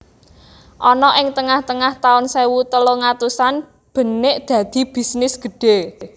Ana ing tengah tengah taun sewu telung atusan benik dadi bisnis gedhe